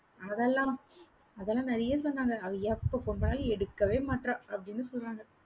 அதெல்லாம். அதெல்லாம் நிறைய சொன்னாங்க. அவ எப்ப phone பண்ணாலும் எடுக்கவே மாட்றா. அப்படின்னு சொல்றாங்க